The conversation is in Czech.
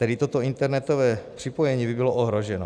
Tedy toto internetové připojení by bylo ohroženo.